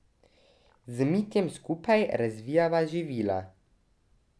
Z Mitjem skupaj razvijava živila.